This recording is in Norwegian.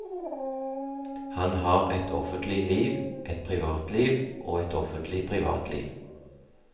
Han har et offentlig liv, et privatliv og et offentlig privatliv.